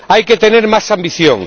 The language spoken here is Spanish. Hay que tener más ambición.